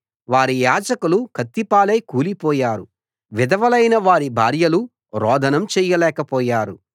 వారి యాజకులు కత్తిపాలై కూలిపోయారు విధవలైన వారి భార్యలు రోదనం చేయలేక పోయారు